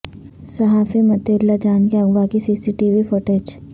صحافی مطیع اللہ جان کے اغوا کی C C T V footage